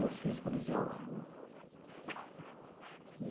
Eu fiz o colegial lá.